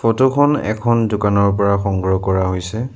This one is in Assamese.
ফটো খন এখন দোকানৰ পৰা সংগ্ৰহ কৰা হৈছে।